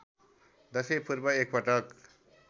दशैँ पूर्व एकपटक